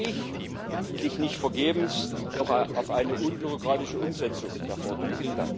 Nun hoffe ich hoffentlich nicht vergebens noch auf eine unbürokratische Umsetzung der Verordnung.